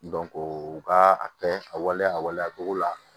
u ka a kɛ a waleya a waleya togo la